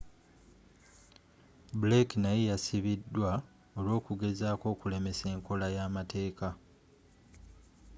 blake naye yasibidwa olw'okugezako okulemesa enkola yamateeka